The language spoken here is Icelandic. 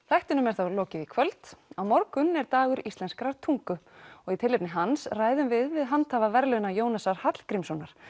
þættinum er þá lokið í kvöld á morgun er Dagur íslenskrar tungu og í tilefni hans ræðum við við handhafa verðlauna Jónasar Hallgrímssonar